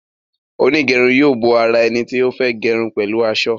Onigerun yóò bó àrà eni tí o fè gerun pẹlu asọ.